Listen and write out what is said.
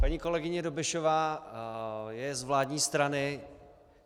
Paní kolegyně Dobešová je z vládní strany.